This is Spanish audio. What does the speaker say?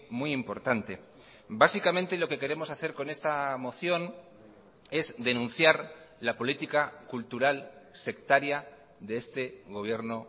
muy importante básicamente lo que queremos hacer con esta moción es denunciar la política cultural sectaria de este gobierno